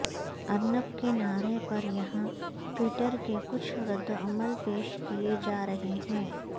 ارنب کے نعرے پر یہاں ٹوئٹر کے کچھ ردعمل پیش کئے جارہے ہیں